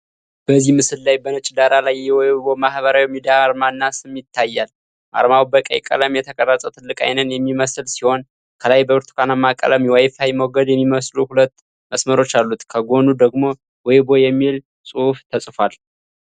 በዚህ ምስል ላይ በነጭ ዳራ ላይ የዌይቦ ማኅበራዊ ሚዲያ አርማና ስም ይታያል። አርማው በቀይ ቀለም የተቀረጸ ትልቅ ዓይንን የሚመስል ሲሆን፣ ከላይ በብርቱካናማ ቀለም የWi-Fi ሞገድ የሚመስሉ ሁለት መስመሮች አሉት። ከጎኑ ደግሞ "weibo" የሚል ጺሁፍ ተጽፏል።